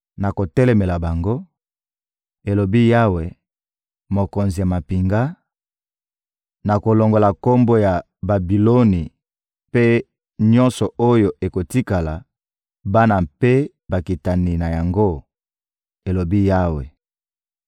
Nakotelemela bango,» elobi Yawe, Mokonzi ya mampinga, «nakolongola kombo ya Babiloni mpe nyonso oyo ekotikala, bana mpe bakitani na yango, elobi Yawe.